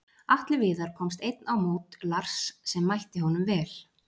Atli Viðar komst einn á mót Lars sem mætti honum vel.